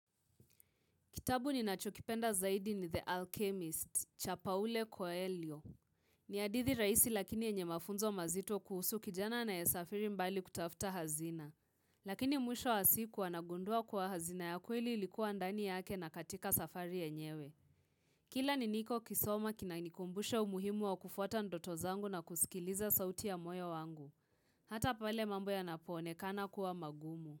Kitabu ni nachokipenda zaidi ni The Alchemist, Chapaule Coelio. Ni hadithi rahisi lakini yenye mafunzo mazito kuhusu kijana na anayesafiri mbali kutafuta hazina. Lakini mwisho wa siku anagundua kwa hazina ya kweli ilikuwa ndani yake na katika safari yenyewe. Kila ni niko kisoma kina nikumbushe umuhimu wa kufuata ndoto zangu na kusikiliza sauti ya moyo wangu. Haota pale mambo ya napone kana kuwa magumu.